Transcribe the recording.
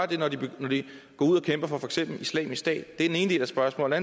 det når de går ud og kæmper for for eksempel islamisk stat det var den ene del af spørgsmålet